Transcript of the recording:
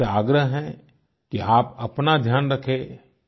मेरा आपसे आग्रह है कि आप अपना ध्यान रखें